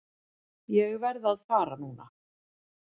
Ég verð að fara núna!